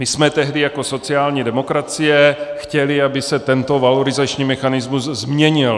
My jsme tehdy jako sociální demokracie chtěli, aby se tento valorizační mechanismus změnil.